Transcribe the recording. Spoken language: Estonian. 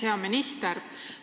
Hea minister!